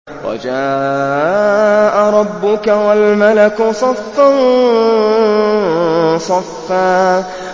وَجَاءَ رَبُّكَ وَالْمَلَكُ صَفًّا صَفًّا